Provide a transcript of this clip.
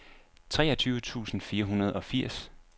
treogtyve tusind fire hundrede og firs